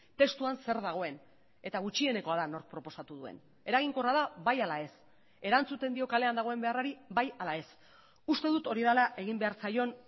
testuan zer dagoen eta gutxienekoa da nork proposatu duen eraginkorra da bai ala ez erantzuten dio kalean dagoen beharrari bai ala ez uste dut hori dela egin behar zaion